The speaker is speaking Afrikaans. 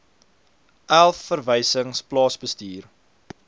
elf verwysings plaasbestuur